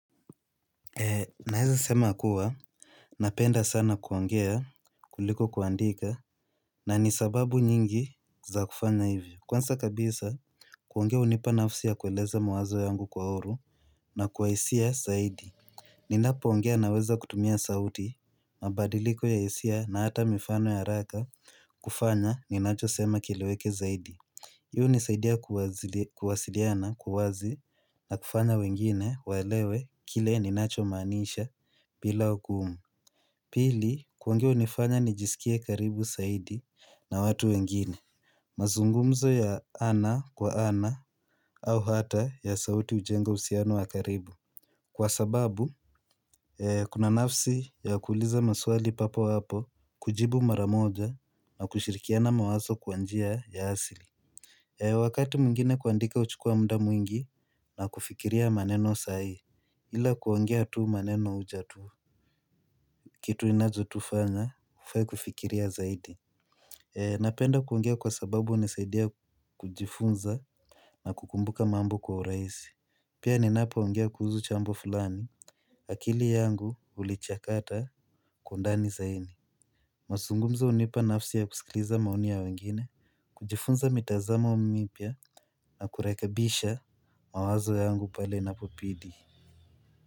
Naweza sema kuwa napenda sana kuongea kuliko kuandika. Na ni sababu nyingi za kufanya hivyo. Kwanza kabisa kuongea unipa nafsi ya kueleza mawazo yangu kwa uhuru. Na kwa hisia zaidi. Ninapo ongea naweza kutumia sauti. Mabadiliko ya hisia na hata mifano ya haraka kufanya ninacho sema kileweke zaidi. Hio unisaidia kuwasiliana kwa wazi. Na kufanya wengine waelewe kile ninacho maaniisha bila hukumu. Pili, kuongea unifanya nijiskie karibu zaidi na watu wengine. Mazungumzo ya ana kwa ana au hata ya sauti, hujenga usiano wa karibu, kwa sababu, kuna nafsi ya kuuliza maswali papo hapo, kujibu maramoja na kushirikiana mawazo kwa njia ya asili. Wakati mwingine kuandika huchukua muda mwingi na kufikiria maneno sai. Ila kuongea tu maneno ujaa tu. Kitu inazo tufanya, ufai kufikiria zaidi. Napenda kuongea kwa sababu unisaidia kujifunza na kukumbuka mambo kwa urahisi. Pia ninapo ongea kuhusu jambo fulani. Akili yangu, ulichakata kwa ndani zaidi. Mazungumzo hunipa nafsi ya kusikiliza maoni ya wengine. Kujifunza mitazamo mipya na kurekebisha mawazo yangu pale na inapo bidii.